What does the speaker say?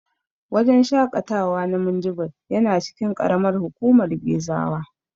Wajen shaƙatawa na Minjibir yana cikin ƙaramar hukumar Gezawa.